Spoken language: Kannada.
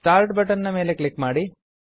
ಸ್ಟಾರ್ಟ್ ಬಟನ್ ನ ಮೇಲೆ ಕ್ಲಿಕ್ ಮಾಡಿ